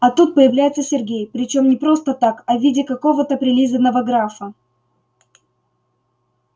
а тут появляется сергей причём не просто так а в виде какого-то прилизанного графа